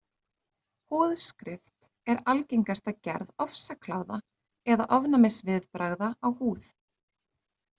Húðskrift er algengasta gerð ofsakláða eða ofnæmisviðbragða á húð.